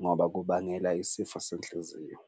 ngoba kubangela isifo senhliziyo.